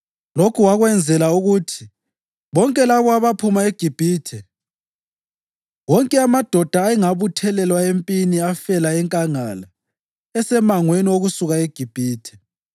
Lokhu wakwenzela ukuthi: Bonke labo abaphuma eGibhithe, wonke amadoda ayengabuthelwa empini afela enkangala esemangweni wokusuka eGibhithe.